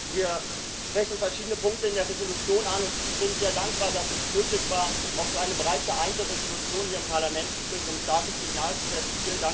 Wir sprechen verschiedene Punkte in der Entschließung an, und ich bin sehr dankbar, dass es möglich war, auch so eine breit geeinte Entschließung hier im Parlament zu finden, um ein starkes Signal zu setzen.